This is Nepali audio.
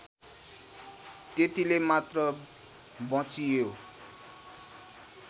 त्यतिले मात्र बँचियो